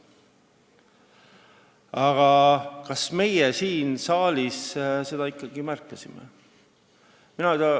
Aga kas meie siin saalis seda ikkagi märkasime?